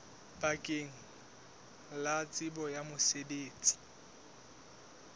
bakeng la tsebo ya mosebetsi